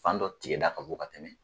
Fan dɔ tigɛda ka bon ka tɛmɛ.